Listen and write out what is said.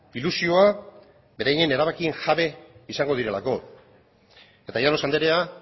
ilusioa beraien erabakien jabe izango direlako eta llanos andrea